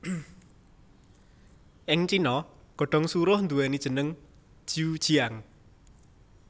Ing Cina godhong suruh nduwèni jeneng ju jiang